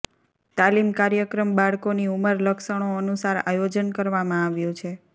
તાલીમ કાર્યક્રમ બાળકોની ઉંમર લક્ષણો અનુસાર આયોજન કરવામાં આવ્યું છે